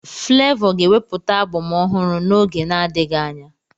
Flavour ga-ewepụta abọm ọhụrụ n'oge na-adịghị anya